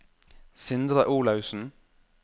Sindre Olaussen